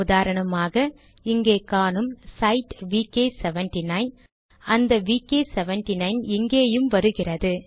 உதாரணமாக இங்கே காணும் சைட் விகே 79 அந்த விகே79 இங்கேயும் வருகிறது